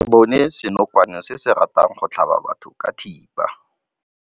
Re bone senokwane se se ratang go tlhaba batho ka thipa.